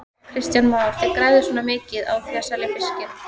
Kristján Már: Þið græðið svona mikið á því að selja fiskinn?